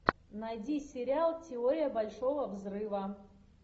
найди сериал теория большого взрыва